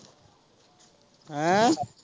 ਹੈਅ।